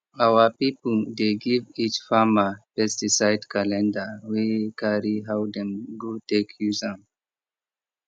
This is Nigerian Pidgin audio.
our people dey give each farmer pesticide calendar wey carry how dem go take use am